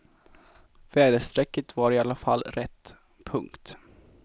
Väderstrecket var i alla fall rätt. punkt